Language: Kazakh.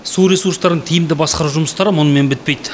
су ресурстарын тиімді басқару жұмыстары мұнымен бітпейді